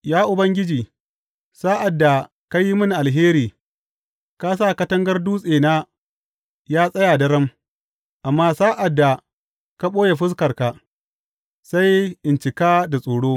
Ya Ubangiji, sa’ad da ka yi mini alheri, ka sa katangar dutsena ya tsaya daram; amma sa’ad da ka ɓoye fuskarka, sai in cika da tsoro.